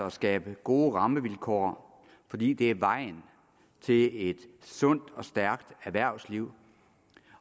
at skabe gode rammevilkår fordi det er vejen til et sundt og stærkt erhvervsliv